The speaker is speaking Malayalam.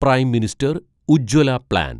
prime minister Ujjwala plan